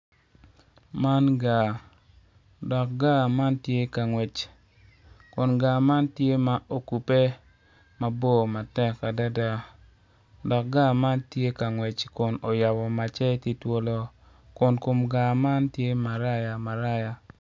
Man gar dok gar man ti ka ngwec kun gar man tye ma ogube mabor matek adida dok gar man tye ka ngwec kun oyabo macce tye twolo kun kom gar man tye maraya maraya